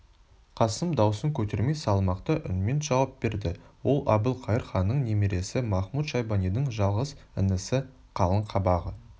қасым даусын көтермей салмақты үнмен жауап берді ол әбілқайыр ханның немересі махмуд-шайбанидың жалғыз інісі қалың қабағы